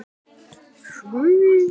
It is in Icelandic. Ólafur, Eybjörg og börn.